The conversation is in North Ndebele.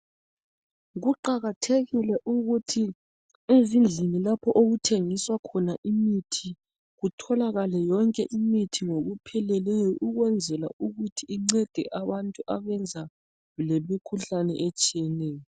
Kuqakathekile ukuthi ezindlini lapho okuthengiswa khona imithi kutholakale yonke imithi ngokupheleleyo ukwenzela ukuthi incede abantu ababulawa yimikhuhlane etshiyeneyo